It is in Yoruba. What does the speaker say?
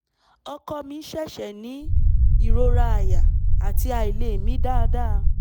ọkọ mi ṣẹ̀ṣẹ̀ ní ìrora àyà àti àìlè mí dáadáa